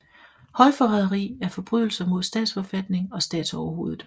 Højforræderi er forbrydelser mod statsforfatning og statsoverhovedet